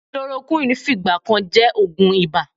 Chloroquine fìgbà kan jẹ́ oògùn ibà.